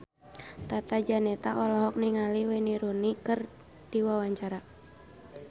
Tata Janeta olohok ningali Wayne Rooney keur diwawancara